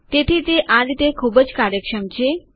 તેથી તે આ રીતે ખૂબ જ કાર્યક્ષમ છે